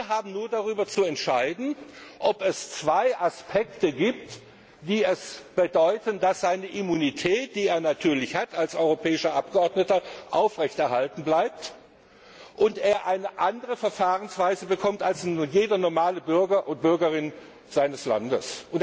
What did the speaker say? Wir haben nur darüber zu befinden, ob es zwei Aspekte gibt, die bedeuten, dass seine Immunität, die er natürlich als europäischer Abgeordneter hat, aufrechterhalten bleibt und er eine andere Verfahrensweise bekommt als jeder normale Bürger seines Landes.